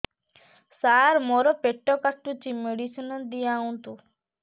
ସାର ମୋର ପେଟ କାଟୁଚି ମେଡିସିନ ଦିଆଉନ୍ତୁ